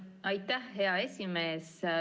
Aitäh, hea esimees!